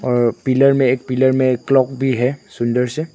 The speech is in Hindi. अ पिलर में एक पिलर में एक प्लग भी है सुंदर से।